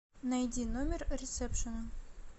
найди номер ресепшена